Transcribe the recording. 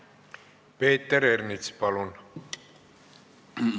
Peeter Ernits, palun!